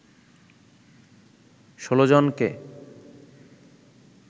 ১৬ জনকে